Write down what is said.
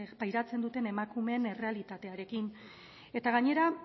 pairatzen duten emakumeen errealitaterekin eta gainera